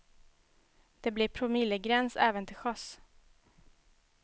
Det blir promillegräns även till sjöss.